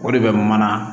O de bɛ mana